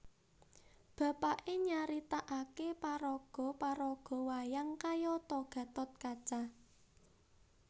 Bapaké nyaritakaké paraga paraga wayang kayata Gatot Kaca